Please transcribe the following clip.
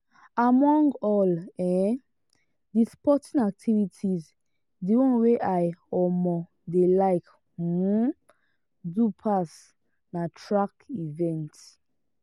among all um the sporting activities the one wey i um dey like um do pass na track events.